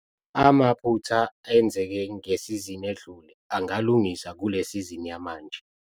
Amaphutha enzeke ngesizini edlule angalungiswa kule sizini yamanje.